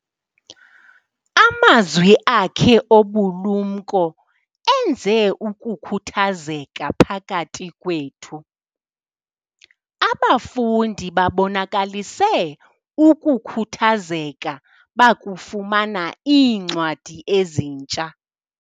Amazwi akhe obulumko enze ukukhuthazeka phakathi kwethu. abafundi babonakalise ukukhuthazeka bakufumana iincwadi ezintsha